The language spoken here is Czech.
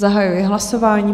Zahajuji hlasování.